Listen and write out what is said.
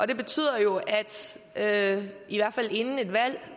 det betyder jo at vi i hvert fald inden et valg